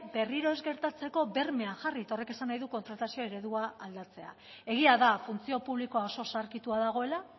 berriro ez gertatzeko bermeak jarri eta horrek esan nahi du kontratazio eredua aldatzea egia da funtzio publikoa oso zaharkitua dagoela